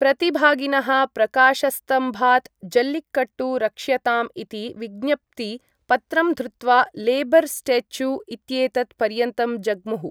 प्रतिभागिनः प्रकाशस्तम्भात् जल्लिकट्टु रक्ष्यताम् इति विज्ञप्ति पत्रं धृत्वा लेबर् स्टेचू इत्येतत् पर्यन्तं जग्मुः।